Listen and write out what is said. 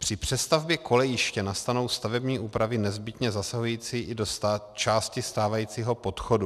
Při přestavbě kolejiště nastanou stavební úpravy nezbytně zasahující i do části stávajícího podchodu.